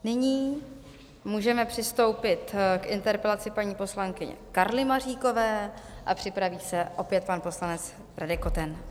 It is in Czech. Nyní můžeme přistoupit k interpelaci paní poslankyně Karly Maříkové a připraví se opět pan poslanec Radek Koten.